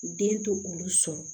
Den to olu sɔrɔ